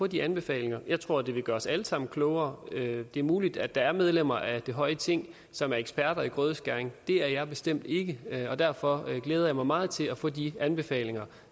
de anbefalinger jeg tror det vil gøre os alle sammen klogere det er muligt at der er medlemmer af det høje ting som er eksperter i grødeskæring det er jeg bestemt ikke og derfor glæder jeg mig meget til at få de anbefalinger